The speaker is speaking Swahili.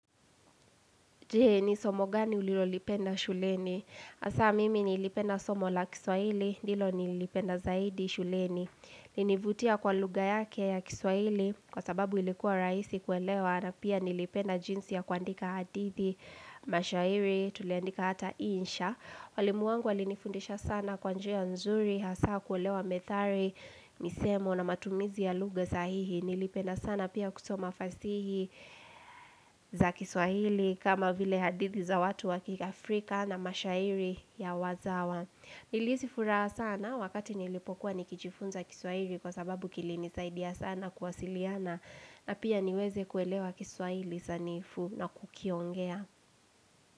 Je ni somo gani ulilolipenda shuleni? Hasa mimi nilipenda somo la kiswahili, ndilo nilipenda zaidi shuleni. Ilinivutia kwa lugha yake ya kiswahili kwa sababu ilikuwa rahisi kuelewa na pia nilipenda jinsi ya kuandika hadithi mashairi, tuliandika hata insha. Walimu wangu walinifundisha sana kwa njia nzuri, hasa kuelewa methali, misemo na matumizi ya lugha sahihi. Nilipenda sana pia kusoma fasihi za kiswahili kama vile hadithi za watu wakiafrika na mashairi ya wazawa Nilihisifuraha sana wakati nilipokuwa nikijifunza kiswahili kwa sababu kilinisaidia sana kuwasiliana na pia niweze kuelewa kiswahili sanifu na kukiongea.